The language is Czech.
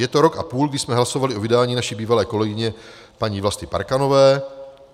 Je to rok a půl, kdy jsme hlasovali o vydání naší bývalé kolegyně paní Vlasty Parkanové.